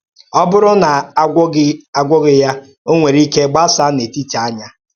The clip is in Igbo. Ọ̀ bụrụ̀ na a gwọ́ọ̀ghị ya, ọ̀ nwere ike gbasáa n’etíti ányá.